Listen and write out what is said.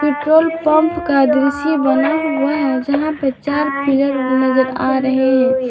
Petrol pump का दृश्य बना हुआ है जहां पर चार पीलर नजर आ रहे हैं।